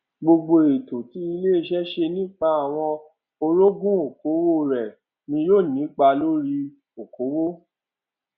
gbogbo ètò tí ilé iṣẹ ṣe nípa àwọn orogún okòwò rẹ ni yóò nípa lórí okòwò